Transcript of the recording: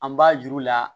An b'a juru la